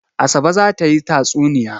Asabe za ta yi tatsuniya.